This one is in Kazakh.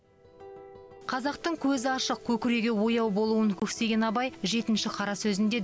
қазақтың көзі ашық көкірегі ояу болуын көксеген абай жетінші қара сөзінде